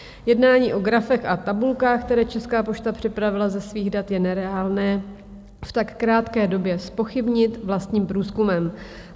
Jednání o grafech a tabulkách, které Česká pošta připravila ze svých dat, je nereálné v tak krátké době zpochybnit vlastním průzkumem.